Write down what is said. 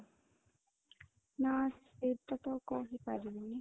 ନାଁ, ସେଇଟା ତ କହିପାରିବିନି